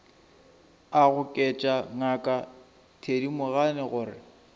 a goketša ngaka thedimogane gore